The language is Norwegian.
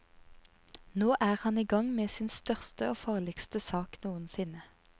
Nå er han i gang med sin største og farligste sak noensinne.